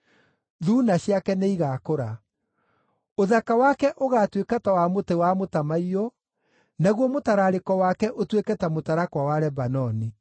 Thuuna ciake nĩigakũra. Ũthaka wake ũgaatuĩka ta wa mũtĩ wa mũtamaiyũ, naguo mũtararĩko wake ũtuĩke ta mũtarakwa wa Lebanoni.